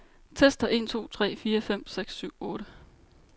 Tester en to tre fire fem seks syv otte.